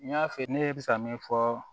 N y'a f'i ye ne bɛ se ka min fɔ